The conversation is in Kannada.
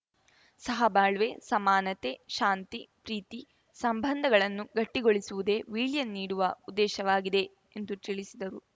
ಸಹ ಬಾಳ್ವೆ ಸಮಾನತೆ ಶಾಂತಿಪ್ರೀತಿ ಸಂಬಂಧಗಳನ್ನು ಗಟ್ಟಿಗೊಳಿಸುವುದೇ ವೀಳ್ಯ ನೀಡುವ ಉದ್ದೇಶವಾಗಿದೆ ಎಂದು ತಿಳಿಸಿದರು